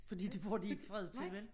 Fordi det får de ikke fred til vel?